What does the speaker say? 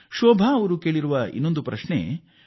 ಶೋಭಾ ಜೀ ಅವರು ಮತ್ತೊಂದು ಪ್ರಶ್ನೆ ಕೇಳಿದ್ದಾರೆ